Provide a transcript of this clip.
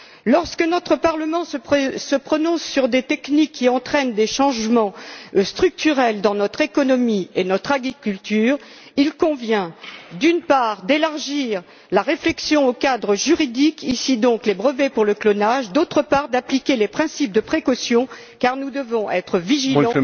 Lorsque notre Parlement se prononce sur des techniques qui entraînent des changements structurels dans notre économie et notre agriculture, il convient, d'une part, d'élargir la réflexion au cadre juridique, en l'espèce les brevets pour le clonage et, d'autre part, d'appliquer les principes de précaution car nous devons être vigilants